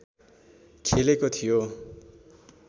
खेलेको थियो